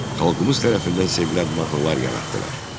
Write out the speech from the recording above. Xalqımız tərəfindən sevilən mahnılar yaratdılar.